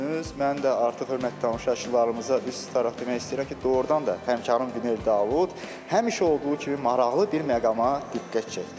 Mən də artıq hörmətli tamaşaçılarımıza üz tutaraq demək istəyirəm ki, doğurdan da həmkarım Günel Davud həmişə olduğu kimi maraqlı bir məqama diqqət çəkdi.